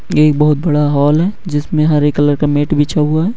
एक बोहोत बाद हॉल हे जिसमे हरे कलर का मेट बिछा हुआ हे ।